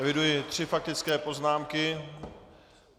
Eviduji tři faktické poznámky.